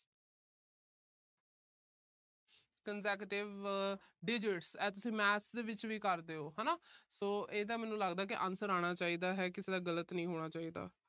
consecutive digits ਇਥੇ math ਦੇ ਵਿੱਚ ਵੀ ਕਰਦੇ ਓ ਹਨਾ। ਇਹਦਾ ਮੈਨੂੰ ਲੱਗਦਾ answer ਆਣਾ ਚਾਹੀਦਾ। ਕਿਸੇ ਦਾ ਗਲਤ ਨਹੀਂ ਹੋਣਾ ਚਾਹੀਦਾ।